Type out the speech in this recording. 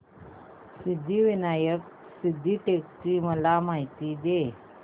सिद्धिविनायक सिद्धटेक ची मला माहिती दे